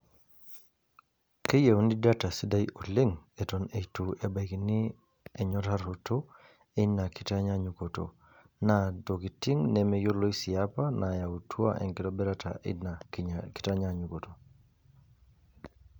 Keyieuni data sidai oleng eton eitu ebaikini enyoraroto einakitanyaanyukoto naa ntokitin nemeyioloi sii apa naayautua enkitobirata ena kitanyanyukoto.